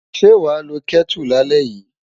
Ṣé wàá lo Kẹ́tù lálẹ́ yìí?